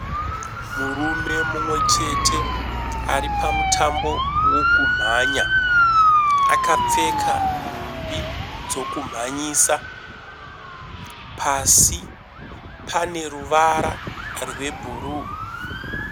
Murume mumwechete aripa mutambo wekumhanya. Akapfeka nhumbi dzokumhanyisa. Pasi pane ruvara rwebhuruu.